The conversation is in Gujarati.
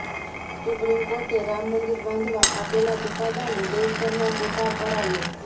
સુપ્રિમ કોર્ટે રામ મંદિર બાંધવા આપેલા ચૂકાદાનો દેશભરમાં સ્વીકાર કરાયો